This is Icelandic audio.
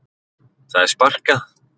Það er sparkað.